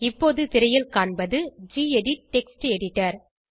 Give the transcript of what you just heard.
இப்போது திரையில் காண்பது கெடிட் டெக்ஸ்ட் எடிட்டர்